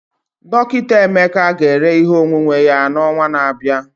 Dọkịta Emeka ga-ere ihe onwunwe ya n'ọnwa na-abịa.